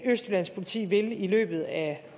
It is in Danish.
østjyllands politi vil i løbet af